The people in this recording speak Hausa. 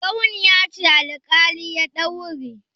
Ɓarauniya ce alƙali ya daure.